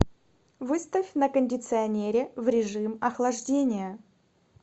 выставь на кондиционере в режим охлаждения